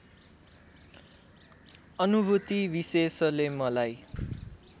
अनुभूति विशेषले मलाई